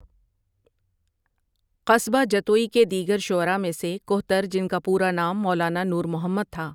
قصبہ جتوئی کے دیگر شعراء میں سے کہتر جن کا پورا نام مولانا نور محمد تھا ۔